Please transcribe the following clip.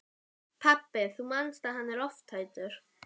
Pabbi, þú manst að hann er lofthræddur.